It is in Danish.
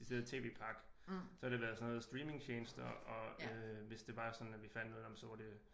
Decideret TV-pakke så har det været sådan noget streamingtjenester og øh hvis det var sådan at vi fandt noget nåh men så var det